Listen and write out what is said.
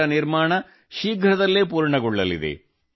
ಇದರ ನಿರ್ಮಾಣ ಶೀಘ್ರದಲ್ಲೇ ಪೂರ್ಣಗೊಳ್ಳಲಿದೆ